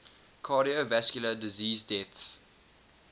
cardiovascular disease deaths